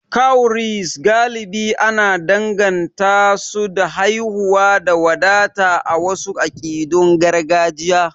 Cowries galibi ana danganta su da haihuwa da wadata a wasu akidun gargajiya.